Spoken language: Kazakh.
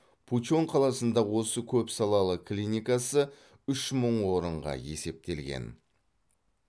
пучон қаласындағы осы көпсалалы клиникасы үш мың орынға есептелген